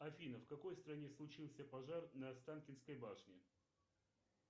афина в какой стране случился пожар на останкинской башне